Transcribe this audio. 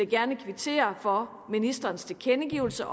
gerne kvittere for ministerens tilkendegivelse